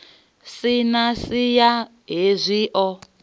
si na siya hezwi o